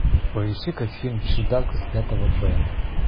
поищи ка фильм чудак из пятого б